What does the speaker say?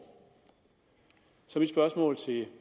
så mit spørgsmål til